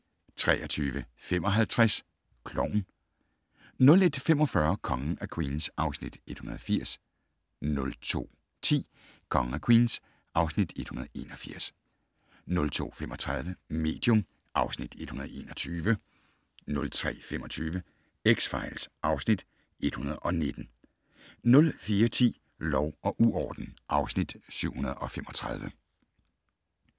23:55: Klovn 01:45: Kongen af Queens (Afs. 180) 02:10: Kongen af Queens (Afs. 181) 02:35: Medium (Afs. 121) 03:25: X-Files (Afs. 119) 04:10: Lov og uorden (Afs. 735)